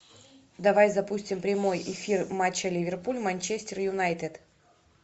давай запустим прямой эфир матча ливерпуль манчестер юнайтед